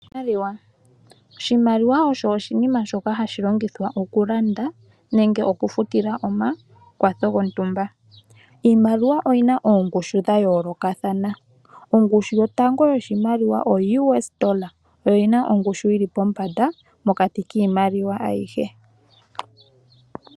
Oshimaliwa Oshimaliwa osho oshinima shoka hashi longithwa okulanda nenge okufutila omakwatho gontumba. Iimaliwa oyi na oongushu dha yoolokathana. Ongushu yotango yoshimaliwa oUS$, oyo yi na ongushu yi li pombanda mokati kiimaliwa ayihe.